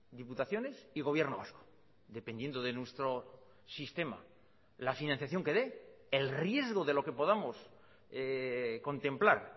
diputaciones y gobierno vasco dependiendo de nuestro sistema la financiación que dé el riesgo de lo que podamos contemplar